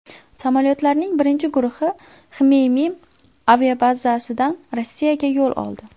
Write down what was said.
Samolyotlarning birinchi guruhi Xmeymim aviabazasidan Rossiyaga yo‘l oldi.